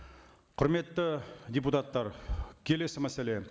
құрметті депутаттар келесі мәселе